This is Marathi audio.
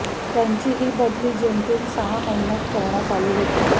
त्यांची ही बदली जेमतेम सहा महिन्यांत करण्यात आली होती